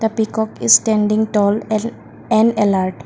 peacock is standing tall and and a lord.